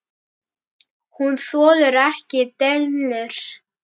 Hún þolir ekki dellur.